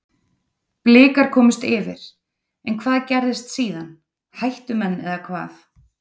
Blikar komust yfir, en hvað gerðist síðan, hættu menn eða hvað?